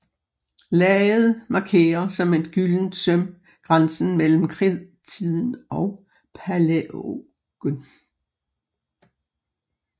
Laget markerer som et gyldent søm grænsen mellem Kridttiden og Palæogen